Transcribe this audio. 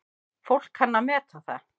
Fólk kann að meta það.